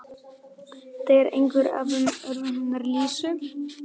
Þetta var eitt af orðunum hennar Lísu.